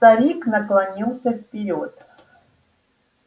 старик наклонился вперёд